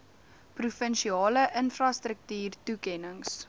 provinsiale infrastruktuur toekennings